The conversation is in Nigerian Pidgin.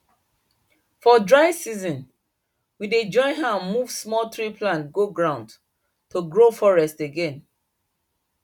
for dry season we dey join hand move small tree plants go ground to grow forest again